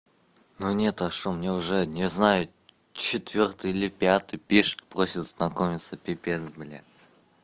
ну не то что мне уже не знаю четвёртый или пятый пишет просто знакомиться пипец блин